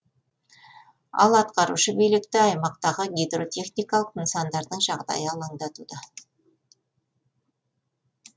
ал атқарушы билікті аймақтағы гидротехникалық нысандардың жағдайы алаңдатуда